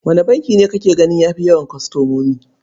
Wane banki ne kake gani ya fi yawan kwastomomi?